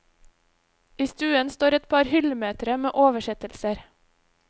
I stuen står et par hyllemetre med oversettelser.